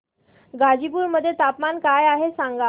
गाझीपुर मध्ये तापमान काय आहे सांगा